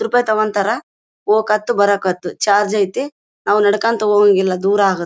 ಹತ್ತು ರೂಪಾಯಿ ತಗೋತಾರೆ. ಹೋಗಕ್ಕೆ ಹತ್ತು ಬರಕ್ಕೆ ಹತ್ತು ಚಾರ್ಜ್ ಇದೆ . ನಾವು ನಡ್ಕೊಂಡು ಹೋಗಂಗಿಲ್ಲಾ ದೂರ ಆಗತ್ತೆ.